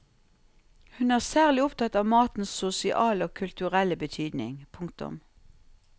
Hun er særlig opptatt av matens sosiale og kulturelle betydning. punktum